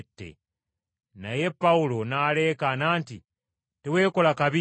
Naye Pawulo n’aleekaana nti, “Teweekola kabi!”